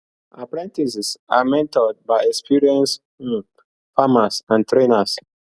apprentices are mentored by experienced um farmers and trainers